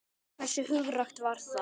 Hversu hugrakkt var það?